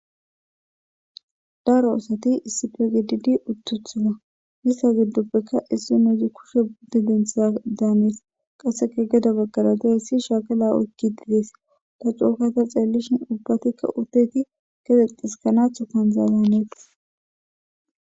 daro asati issipegdidi uttuthuma yissa giddoppekka issi nouzi kushe budde dentha daanees qasseka geda baggara da hissi shaakala oykki didees ta cookata xeellishin ubbatikka uteti gexexxis kanathu kanzaazaaneet